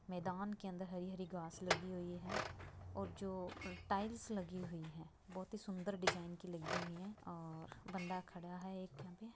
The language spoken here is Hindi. मैदान के अंदर हरी हरी घास लगी हुई है और जो टाइल्स लगी हुई है बहोत ही सुन्दर डिजाइन की लगी हुई हैऔर बंदा एक खड़ा है।